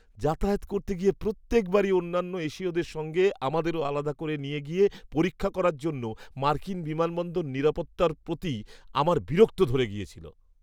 যাতায়াত করতে গিয়ে প্রত্যেক বারই অন্যান্য এশীয়দের সঙ্গে আমাদেরও আলাদা করে নিয়ে গিয়ে পরীক্ষা করার জন্য মার্কিন বিমানবন্দর নিরাপত্তার প্রতি আমার বিরক্ত ধরে গেছিল।